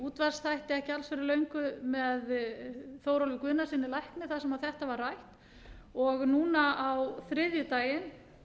útvarpsþætti ekki alls fyrir löngu með þórólfi guðnasyni lækni þar sem þetta var rætt núna á þriðjudaginn